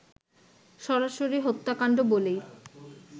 সরাসরি হত্যাকাণ্ড বলেই